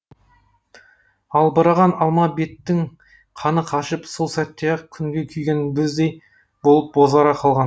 албыраған алма беттің қаны қашып сол сәтте ақ күнге күйген бөздей болып бозара қалған